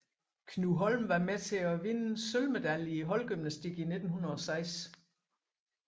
Knud Holm var med till att vinde sølvmedaljer i holdgymnastik 1906